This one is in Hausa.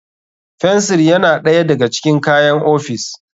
Fensir yana ɗaya daga cikin kayan ofis.